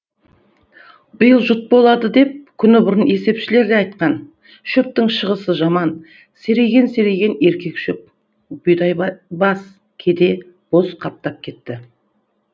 биыл жұт болады деп күн бұрын есепшілер де айтқан шөптің шығысы жаман серейген серейген еркек шөп бұйдай бас кеде боз қаптап кетті